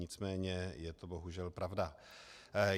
Nicméně je to bohužel pravda.